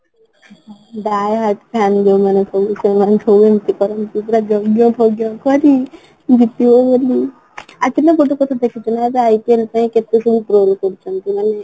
die hard fan ଯୋଉମାନେ ସବୁ ଏମିତି କରନ୍ତି ପୁରା ଯଜ୍ଞ କରି ଗୀତ ବୋଲି actually ନା ଗୋଟେ କଥା ଦେଖୁଥିଲି ଏବେ IPL ପାଇଁ କେତେ କ'ଣ କେମିତି troll କରୁଛନ୍ତି ? ମାନେ